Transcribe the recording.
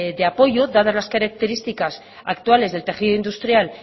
de apoyo dadas las características actuales del tejido industrial